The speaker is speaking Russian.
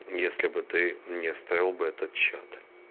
если бы ты мне оставил бы этот чат